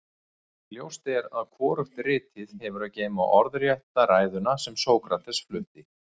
ljóst er að hvorugt ritið hefur að geyma orðrétta ræðuna sem sókrates flutti